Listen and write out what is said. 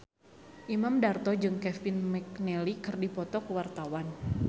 Imam Darto jeung Kevin McNally keur dipoto ku wartawan